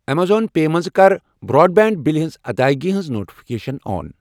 Amazon pay منٛز کَر broadband بِلہِ ہٕنٛز ادٲیگی ہٕنٛز نوٹفکیشن آن۔